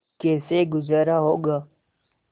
कैसे गुजारा होगा